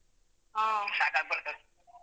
ಹಾ.